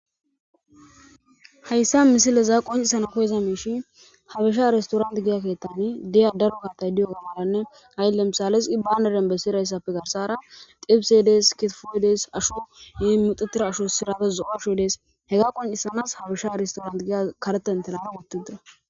Hayssa misileza qoncisana koyeza meishi habisha aristorant giya keettani diya daro kartay diyo ganaanne haylemisales i bandaren bessirayssafe garsara tifsedes ketefodees asho yi muxetira asho sirates zoasho dees hega qoncisanas habisha aristorant giya karetantenara wottidda.